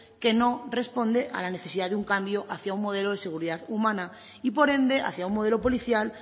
que no responde a la necesidad de un cambio hacia un modelo de seguridad humana y por ende hacia un modelo policial